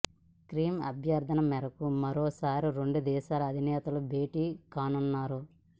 Kim అభ్యర్థన మేరకు మరోసారి రెండు దేశాల అధినేతలు భేటీ కానున్నారు